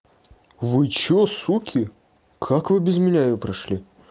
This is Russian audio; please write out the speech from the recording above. вы что суки как вы без меня её прошли